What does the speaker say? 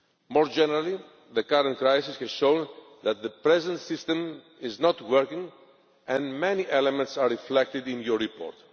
More generally, the current crisis has shown that the present system is not working, and many elements are reflected in your report.